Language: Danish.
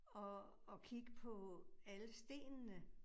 Og og kigge på alle stenene